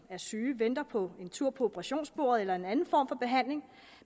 er syge venter på en tur på operationsbordet eller en anden form for behandling